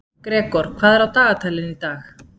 Gregor, hvað er á dagatalinu í dag?